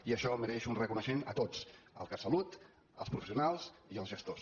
i això mereix un reconeixement a tots al catsalut als professionals i als gestors